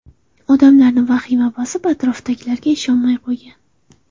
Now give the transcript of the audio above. Odamlarni vahima bosib, atrofdagilarga ishonmay qo‘ygan.